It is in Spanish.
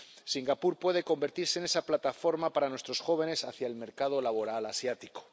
Singapur puede convertirse en esa plataforma para nuestros jóvenes hacia el mercado laboral asiático.